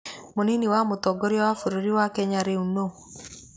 Mũnini wa mũtongoria wa bũrũri wa Kenya rĩu nũ?